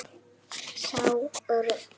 Sá rautt.